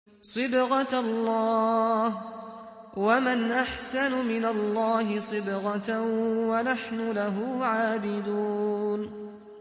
صِبْغَةَ اللَّهِ ۖ وَمَنْ أَحْسَنُ مِنَ اللَّهِ صِبْغَةً ۖ وَنَحْنُ لَهُ عَابِدُونَ